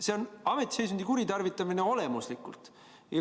See on olemuslikult ametiseisundi kuritarvitamine.